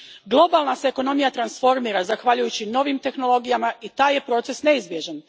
Globalna se ekonomija transformira zahvaljujući novih tehnologijama i taj je proces neizbježan.